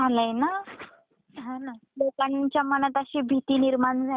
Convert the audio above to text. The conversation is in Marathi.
लोकांच्या मनात अशी भीती निर्माण झालीये जेव्हा पासन तो करोंना येऊन गेलाय